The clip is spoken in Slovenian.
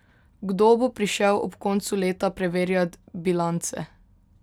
Kdo bo prišel ob koncu leta preverjat bilance?